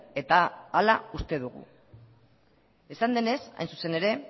eta hala uste dugu esan denez hain zuzen ere